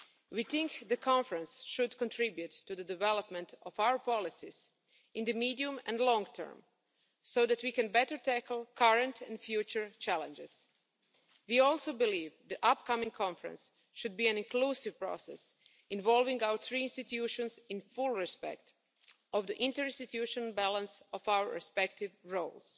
We think the Conference should contribute to the development of our policies in the medium and long term so that we can better tackle current and future challenges. We also believe the upcoming Conference should be an inclusive process, involving our three institutions in full respect of the interinstitutional balance of our respective roles.